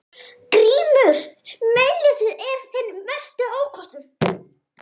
GRÍMUR: Meinleysið er þinn mesti ókostur.